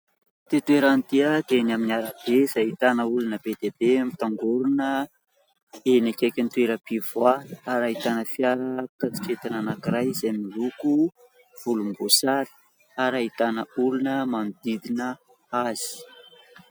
Ity toerana ity dia eny amin'ny arabe izay ahitana olona be dia be mitangorona eny akaikin'ny toeram-pivoahana ary ahitana fiara mpitatitra entana anankiray izay miloko volomboasary ary ahitana olona manodidina azy.